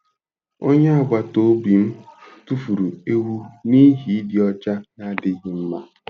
Onye agbata obi m tụfuru ewu n'ihi ịdị ọcha na-adịghị mma.